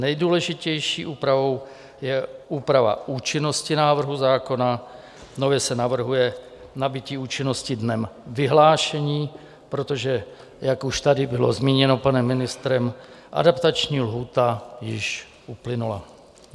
Nejdůležitější úpravou je úprava účinnosti návrhu zákona, nově se navrhuje nabytí účinnosti dnem vyhlášení, protože jak už tady bylo zmíněno panem ministrem, adaptační lhůta již uplynula.